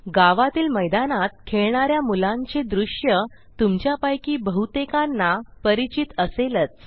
गावातील मैदानात खेळणा या मुलांचे द्रुश्य तुमच्यापैकी बहुतेकांना परिचित असेलच